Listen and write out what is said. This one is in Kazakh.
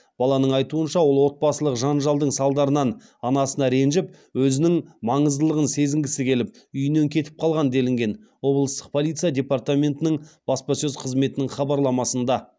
баланың айтуынша ол отбасылық жанжалдың салдарынан анасына ренжіп өзінің маңыздылығын сезінгісі келіп үйінен кетіп қалған делінген облыстық полиция департаментінің баспасөз қызметінің хабарламасында